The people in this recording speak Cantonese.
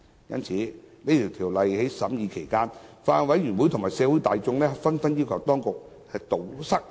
因此，在審議《條例草案》期間，法案委員會及社會大眾紛紛要求當局堵塞漏洞。